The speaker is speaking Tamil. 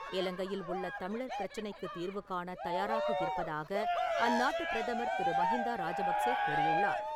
இலங்கையில் உள்ள தமிழர் பிரச்சனைக்குத் தீர்வு காணத் தயாராக இருப்பதாக அந்நாட்டு பிரதமர் திரு மஹிந்தா ராஜபக்சே கூறியுள்ளார்.